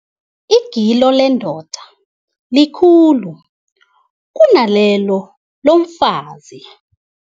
Igilo lendoda likhulu kunalelo lomfazi.